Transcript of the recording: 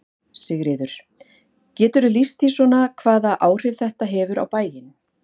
Sigríður: Geturðu lýst því svona hvaða áhrif þetta hefur á bæinn?